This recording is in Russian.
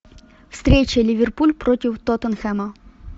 встреча ливерпуль против тоттенхэма